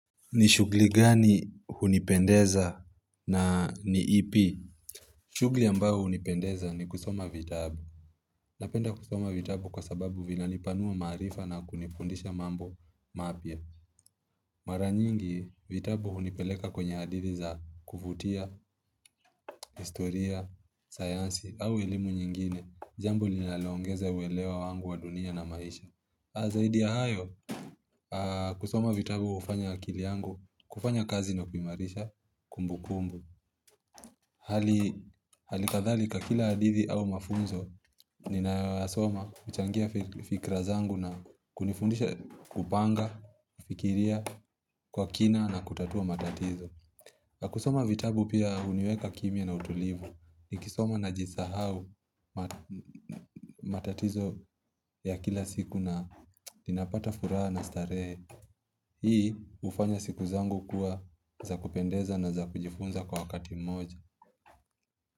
Ni shughuli gani hunipendeza na ni ipi? Shughuli ambayo hunipendeza ni kusoma vitabu. Napenda kusoma vitabu kwa sababu vinanipanua maarifa na kunifundisha mambo mapya. Mara nyingi vitabu hunipeleka kwenye hadithi za kuvutia, historia, sayansi au elimu nyingine. Jambo linaloongeza uelewa wangu wa dunia na maisha. Zaidi ya hayo, kusoma vitabu hufanya akili yangu, kufanya kazi inapoimarisha kumbukumbu Hali kadhalika kila hadithi au mafunzo Ninasoma huchangia fikra zangu na kunifundisha kupanga, kufikiria kwa kina na kutatua matatizo kusoma vitabu pia huniweka kimya na utulivu Nikisoma najisahau matatizo ya kila siku na ninapata furaha na starehe. Hii hufanya siku zangu kuwa za kupendeza na za kujifunza kwa wakati mmoja.